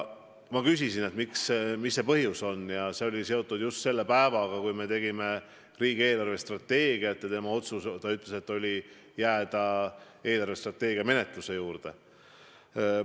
Ma küsisin, mis põhjusel, ja sain vastuseks, et see oli seotud sellega, et just sel päeval me tegime riigi eelarvestrateegiat ja tema otsustas jääda eelarvestrateegia menetluse juurde.